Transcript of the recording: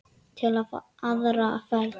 Til í aðra ferð.